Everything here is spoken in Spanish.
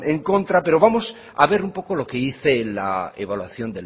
en contra pero vamos a ver un poco lo que dice la evaluación